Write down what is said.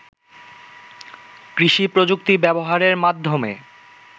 কৃষি-প্রযুক্তি ব্যবহারের মাধ্যমে